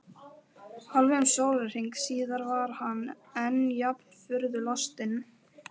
Hálfum sólarhring síðar var hann enn jafn furðu lostinn.